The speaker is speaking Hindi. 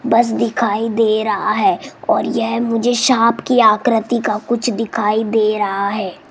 बस दिखाई दे रहा है और यह मुझे सांप की आकृति का कुछ दिखाई दे रहा है।